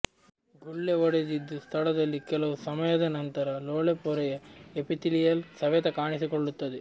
ಗುಳ್ಳೆ ಒಡೆದಿದ್ದು ಸ್ಥಳದಲ್ಲಿ ಕೆಲವು ಸಮಯದ ನಂತರ ಲೋಳೆ ಪೊರೆಯ ಎಪಿತೀಲಿಯಲ್ ಸವೆತ ಕಾಣಿಸಿಕೊಳ್ಳುತ್ತದೆ